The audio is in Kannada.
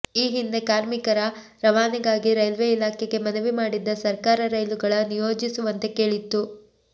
ಈ ಹಿಂದೆ ಕಾರ್ಮಿಕರ ರವಾನೆಗಾಗಿ ರೈಲ್ವೇ ಇಲಾಖೆಗೆ ಮನವಿ ಮಾಡಿದ್ದ ಸರ್ಕಾರ ರೈಲುಗಳ ನಿಯೋಜಿಸುವಂತೆ ಕೇಳಿತ್ತು